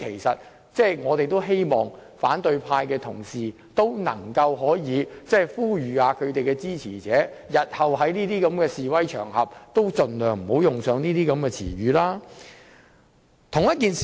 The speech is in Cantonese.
因此，我們十分希望反對派的同事可以呼籲其支持者，日後在示威場合中也應該盡量不要使用這種言詞。